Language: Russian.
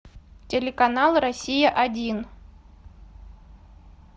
телеканал россия один